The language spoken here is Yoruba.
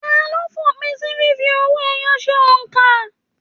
Taló f'òpin sí fífi owó ẹyọ ṣe óńka?